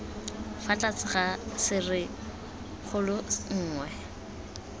fa tlase ga serisikgolo nngwe